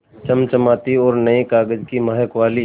चमचमाती और नये कागज़ की महक वाली